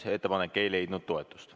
Ettepanek ei leidnud toetust.